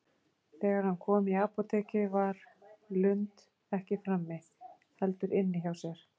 Þegar hann kom í apótekið var Lund ekki frammi, heldur inni hjá sér.